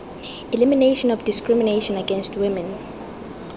elimination of discrimination against women